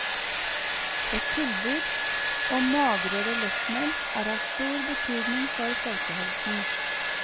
Et tilbud om magrere lettmelk er av stor betydning for folkehelsen.